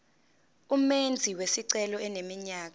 umenzi wesicelo eneminyaka